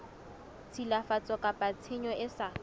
tshilafatso kapa tshenyo e sa